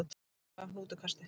Nóg komið af hnútukasti